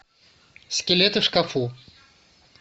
скелеты в шкафу